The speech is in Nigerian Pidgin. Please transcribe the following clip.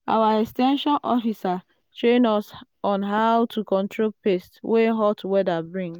our ex ten sion officer train us on how to control pests wey hot weather bring.